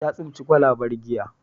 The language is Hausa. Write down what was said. Ta tsinci kwalabar giya.